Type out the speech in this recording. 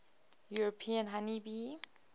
european honey bee